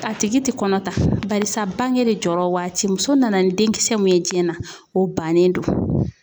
A tigi te kɔnɔ ta barisa bange de jɔr'ɔ waati. Muso nana ni denkisɛ mun ye diɲɛ na o bannen don.